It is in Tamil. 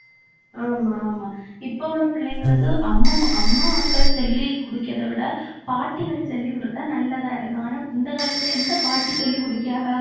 ஆமா ஆமா இப்ப உள்ள பிள்ளைங்களுக்கு அம்மம் அம்மாக்கள் சொல்லி குடுக்கறதை விட பாட்டிகள் சொல்லிக் குடுத்தா நல்லதா இருக்கும். ஆனா இந்த காலத்துல எந்த பாட்டி சொல்லிக் குடுக்கியாக